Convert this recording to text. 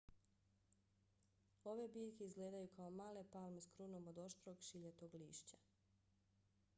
ove biljke izgledaju kao male palme s krunom od oštrog šiljatog lišća